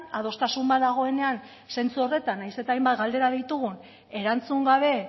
adostasun bat dagoenean zentzu horretan nahiz eta hainbat galdera ditugun erantzun gabe